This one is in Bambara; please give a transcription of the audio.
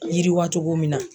Yiriwa cogo min na.